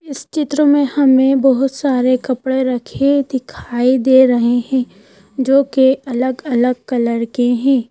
इस चित्र में हमें बहुत सारे कपड़े रखे दिखाई दे रहे हैं जो कि अलग-अलग कलर के हैं।